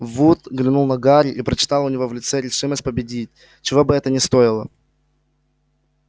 вуд глянул на гарри и прочитал у него в лице решимость победить чего бы это ни стоило